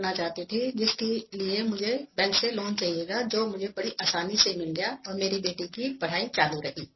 I needed to take a bank loan which I got very easily and my daughter was able to continue her studies